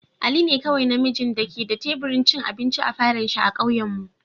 Ali ne kowai na mijin da ke da taburin vin abinci a falon shiba'kauyen mu.